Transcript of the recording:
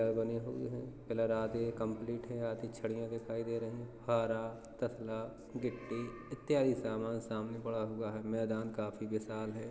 घर बने हुए हैं पिलर आधे कम्प्लीट है आधी छड़िया दिखाई दे रही हैं फारा तसला गिट्टी इत्यादि सामान सामने पड़ा हुआ है मैदान काफी विशाल है।